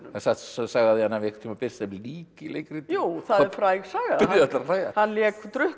sögð saga af því að hann hafi einu sinni birst sem lík í leikriti jú það er fræg saga það byrjuðu allir að hlæja hann lék